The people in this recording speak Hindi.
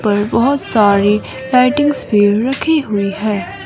पर बहुत सारी लाइटिंग्स भी रखी हुई है।